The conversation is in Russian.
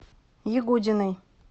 ягудиной